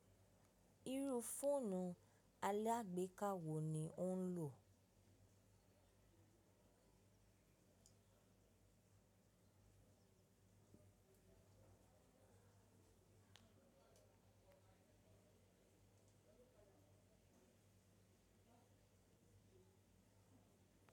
Irú fóònù alàgbéká wo ni ò ń lò?